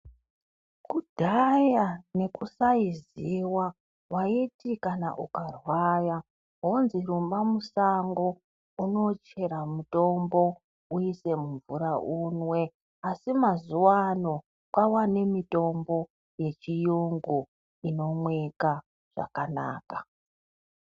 Kudhaya nekusaiziva waiti kana ukarwaya wonzwi musango unochera mutombo uise mumvura unwe asi mazuwano kwava nemutombo yechiyungu inomwika zvakanaka.